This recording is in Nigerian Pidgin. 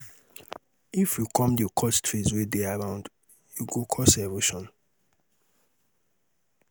if we come dey cut trees wey dey around e go cos erosion